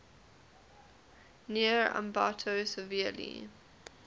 near ambato severely